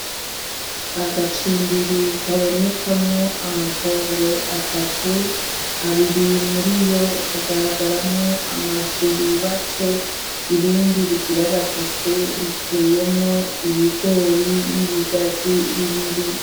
Agacimbiri kabonekamwo amatongo atatu , abiri muriyo hagaragaramwo amazu yubatswe , irindi rigira gatatu riteyemwo ibigori n'ibigazi bibiri .